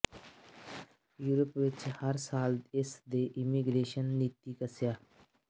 Europe ਵਿਚ ਹਰ ਸਾਲ ਇਸ ਦੇ ਇਮੀਗ੍ਰੇਸ਼ਨ ਦੇ ਨੀਤੀ ਕੱਸਿਆ